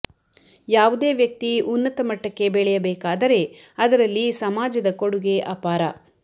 ಯಾವುದೇ ವ್ಯಕ್ತಿ ಉನ್ನತ ಮಟ್ಟಕ್ಕೆ ಬೆಳೆಯಬೇಕಾದರೆ ಅದರಲ್ಲಿ ಸಮಾಜದ ಕೊಡುಗೆ ಅಪಾರ